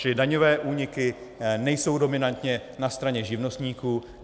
Čili daňové úniky nejsou dominantně na straně živnostníků.